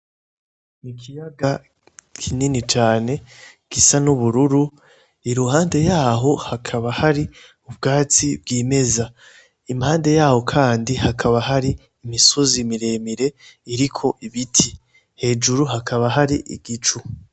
Ikiyaga kini cane gisa n'ubururu iruhande yaho hakaba hari ubwatsi bwimeza impande yaho kandi hakaba hari imisozi miremire iriko ibiti hejuru hakaba hari igicu.